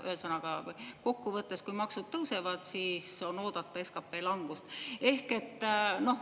Ühesõnaga, kokku võttes, kui maksud tõusevad, siis on oodata SKP langust.